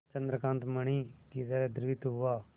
चंद्रकांत मणि ही तरह द्रवित हुआ